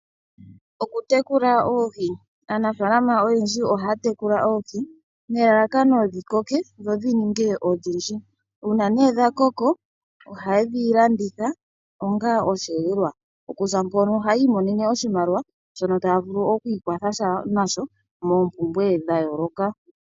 Okutekula Oohi Aanafaalama oyendji ohaya tekula oohi nelalakano dhi koke dho dhi ninge odhindji. Uuna nee dha koko oha yedhi landitha onga osheelelwa. Okuza mpono ohaya imonene oshimaliwa shono taya vulu oku ikwatha nasho moompumbwe dha yooloka.